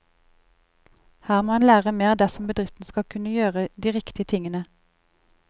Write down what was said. Her må en lære mer dersom bedriften skal kunne gjøre de riktige tingene.